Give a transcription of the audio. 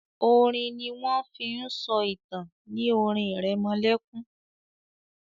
orin ní wón fín so ìtàn ní orin iremolekun